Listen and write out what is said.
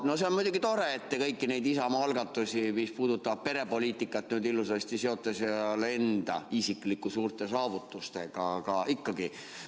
No see on muidugi tore, et te kõiki neid Isamaa algatusi, mis puudutavad perepoliitikat, nüüd ilusasti seote seal enda isiklike suurte saavutustega, aga ikkagi.